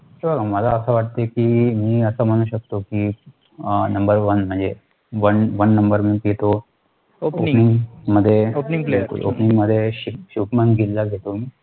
SIR मला असं वाटतं कि, मी असं म्हणू शकतो कि, NUMBER ONE, म्हणजे ONE ONE NUMBER म्हटले तर opening मध्ये opening मध्ये शुभम गिल ला घेतो